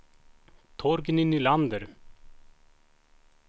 Torgny Nylander